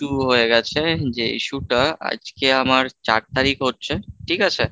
হয়ে গেছে, যে issue টা আজকে আমার চার তারিখ হচ্ছে ঠিক আছে।